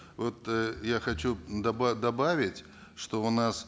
вот э я хочу добавить что у нас